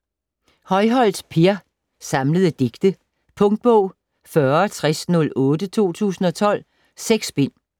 Højholt, Per: Samlede digte Punktbog 406008 2012. 6 bind.